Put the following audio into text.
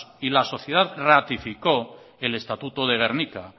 y la sociedad ratificó el estatuto de gernika